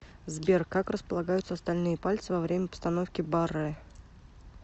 сбер как располагаются остальные пальцы во время постановки баррэ